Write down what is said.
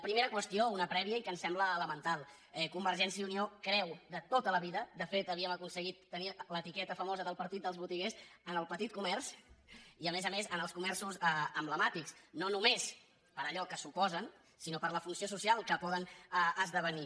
primera qüestió una prèvia i que ens sembla elemental convergència i unió creu de tota la vida de fet havíem aconseguit tenir l’etiqueta famosa del partit dels botiguers en el petit comerç i a més a més en els comerços emblemàtics no només per allò que suposen sinó per la funció social que poden esdevenir